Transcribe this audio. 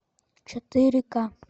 четыре ка